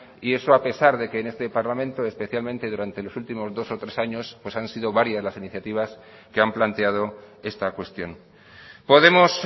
y eso a pesar de que en este parlamento especialmente durante los últimos dos o tres años han sido varias las iniciativas que han planteado esta cuestión podemos